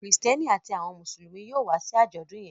Kristẹni àti àwọn Mùsùlùmí yóò wá sí ajọdun yén